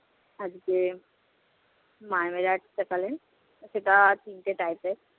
আজকে মামিরা এসেছে সকালে, সেটাও আজ শুনতে চাইবে